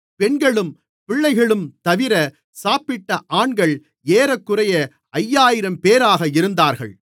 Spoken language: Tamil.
பெண்களும் பிள்ளைகளும்தவிர சாப்பிட்ட ஆண்கள் ஏறக்குறைய ஐயாயிரம்பேராக இருந்தார்கள்